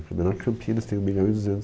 Menor que Campinas, tem um milhão e duzentos